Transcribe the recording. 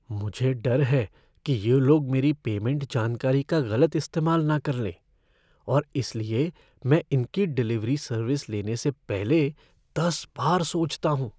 मुझे डर है कि ये लोग मेरी पेमेंट जानकारी का गलत इस्तेमाल न कर लें और इसलिए मैं इनकी डिलीवरी सर्विस लेने से पहले दस बार सोचता हूँ।